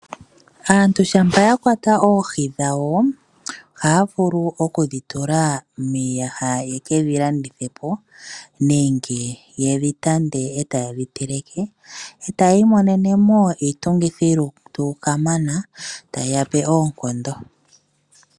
Aantu shampa ya kwata oohi dhawo, oha ya vulu oku dhitula miiyaha ye ke dhilandithe po nenge yedhi tande e taye dhi teleke, etayi monenemo iitungithilutu kamana tayi yape oonkondo.